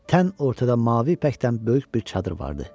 Tən ortada mavi ipəkdən böyük bir çadır vardı.